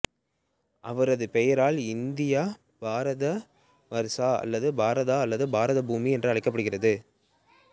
இவரது பெயரால் இந்தியா பாரதவர்ச அல்லது பாரத அல்லது பாரதபூமி என அழைக்கப்படுகிறது